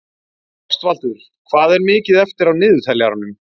Ástvaldur, hvað er mikið eftir af niðurteljaranum?